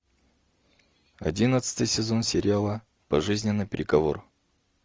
одиннадцатый сезон сериала пожизненный приговор